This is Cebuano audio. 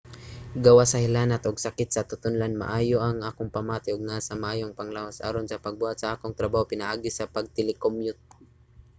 gawas sa hilanat ug sakit sa tutonlan maayo ang akong pamati ug naa sa maayong panglawas aron sa pagbuhat sa akong trabaho pinaagi sa pag-telecommute